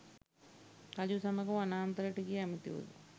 රජු සමග වනාන්තරයට ගිය ඇමතිවරු